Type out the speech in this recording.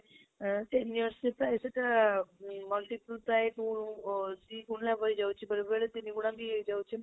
ଅ ten years ରେ ପ୍ରାଯ ସେଟା ଅମ୍ multiple by two ଅ ଦୁଇ ଗୁଣା ଭଳି ହେଇଯାଉଛି ବେଳେ ବେଳେ ତିନି ଗୁଣାବି ହେଇ ହି ଯାଉଛି